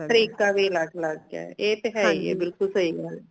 ਤਰੀਕਾ ਵੀ ਅਲੱਗ ਅਲੱਗ ਹੈ ਐ ਤੇ ਹੈ ਹੀ ਹੈ ਬਿਲਕੁਲ ਸਹੀ ਗੱਲ ਹੈ